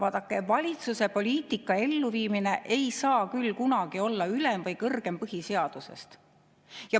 " Vaadake, valitsuse poliitika elluviimine ei saa küll kunagi olla ülem või kõrgem põhiseadusest.